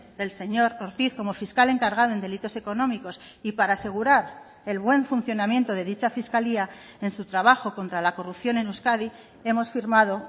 del señor ortiz como fiscal encargado en delitos económicos y para asegurar el buen funcionamiento de dicha fiscalía en su trabajo contra la corrupción en euskadi hemos firmado